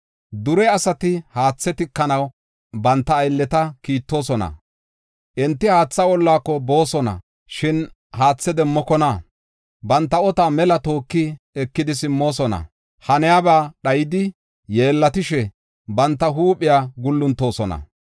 Dure asati haathe tikanaw banta aylleta kiittoosona. Enti haatha ollaako boosona; shin haathe demmokona; banta otuwa mela tooki ekidi simmoosona. Haniyaba dhayidi yeellatishe, banta huuphiya guuluntoosona.